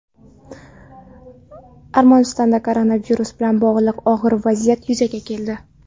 Armanistonda koronavirus bilan bog‘liq og‘ir vaziyat yuzaga keldi.